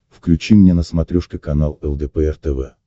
включи мне на смотрешке канал лдпр тв